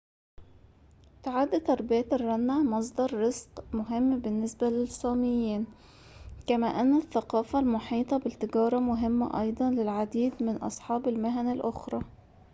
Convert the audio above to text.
تُعد تربية الرنة مصدر رزق مهم بالنسبة للصاميين كما أن الثقافة المحيطة بالتجارة مهمة أيضاً للعديد من أصحاب المهن الأخرى